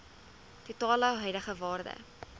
totale huidige waarde